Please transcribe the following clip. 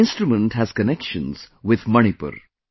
This instrument has connections with Manipur